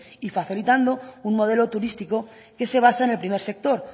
y facilitando un modelo turístico que se basa en el primer sector